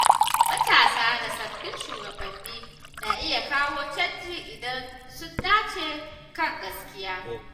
Matasa da sabbin shugabanni na iya kawo canji idan sun nace kan gaskiya.